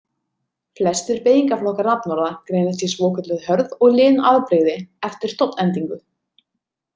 Flestir beygingarflokkar nafnorða greinast í svokölluð hörð og lin afbrigði eftir stofnendingu.